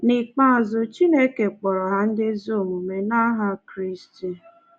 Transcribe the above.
N’ikpeazụ, chineke kpọrọ ha ndị ezi omume n’aha kraịst